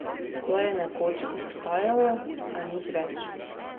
To je nekoč obstajalo, a nič več.